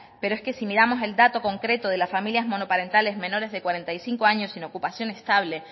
pero es que si miramos el dato concreto de las familias monoparentales menores de cuarenta y cinco años sin ocupación estable